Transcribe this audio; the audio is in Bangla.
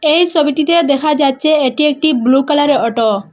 এই সবিটিতে দেখা যাচ্ছে এটি একটি ব্লু কালারে অটো ।